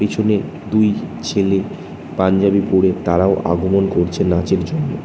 পেছনে দুই ছেলে পাঞ্জাবি পরে তারাও আগমন করছে নাচের জন্য।